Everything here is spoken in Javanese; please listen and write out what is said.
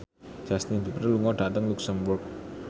Justin Beiber lunga dhateng luxemburg